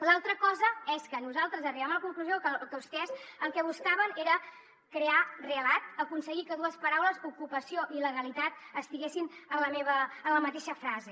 l’altra cosa és que nosaltres arribem a la conclusió que vostès el que buscaven era crear relat aconseguir que dues paraules ocupació i il·legalitat estiguessin en la mateixa frase